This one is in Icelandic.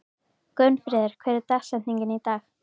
Gunnfríður, hver er dagsetningin í dag?